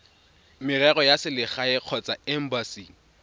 merero ya selegae kgotsa embasing